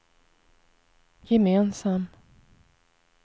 gemensam